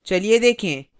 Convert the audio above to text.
चलिए देखें